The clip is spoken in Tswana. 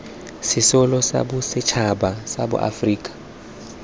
sesole sa bosetšhaba sa aforika